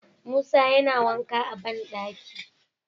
Musa yana wanka a banɗaki